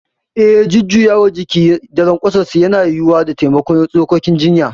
Eh, jujjuyawar jiki da lanƙwasuwarsu yana yiwuwa da taimakon tsokokin cinya.